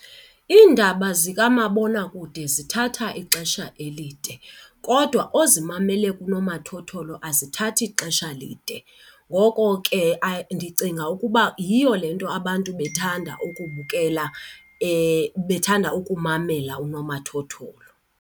Iindaba zikamabonakude zithatha ixesha elide kodwa ozimamele kunomathotholo azithathi xesha lide. Ngoko ke ndicinga ukuba yiyo le nto abantu bethanda ukubukela bethanda ukumamela unomathotholo.